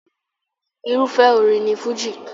Irúfẹ́ orin ni Fújì.